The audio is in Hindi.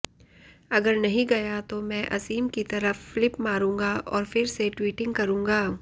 अगर नहीं गया तो मैं असीम की तरफ फ्लिप मारूंगा और फिर से ट्वीटिंग करूंगा